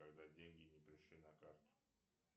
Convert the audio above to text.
когда деньги не пришли на карту